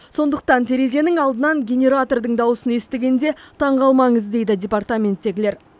сондықтан терезенің алдынан генератордың дауысын естігенде таңғалмаңыз дейді департаменттегілер